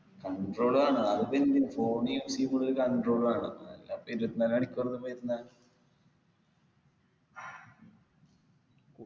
control വേണം അതിപ്പൊ ഇന്ന് phone use എയ്യുമ്പോള് ഒരു control വേണം അല്ലാപ്പൊ ഇരുപത്തിനാലു മണിക്കൂറും ഇതിമ്മ ഇരുന്നാ